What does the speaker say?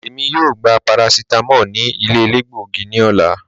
Èmi yóò gbà paracetamól ní ilẹ̀ èlẹ́gbọ̀gí ní òlà.